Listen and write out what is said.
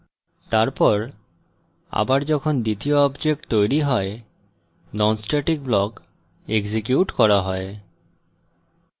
তারপর আবার যখন দ্বিতীয় object তৈরী হয় non static block এক্সিকিউট করা হয়